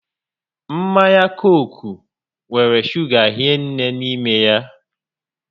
Mmanya Cooku nwere shuga hinne n'ime ya